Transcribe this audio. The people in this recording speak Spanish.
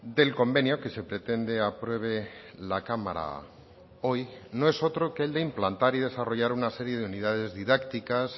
del convenio que se pretende apruebe la cámara hoy no es otro que el de implantar y desarrollar una serie de unidades didácticas